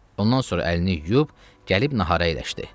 Ondan sonra əlini yuyub, gəlib nahara əyləşdi.